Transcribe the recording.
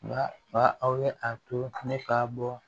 Nka aw ye a to ne ka bɔ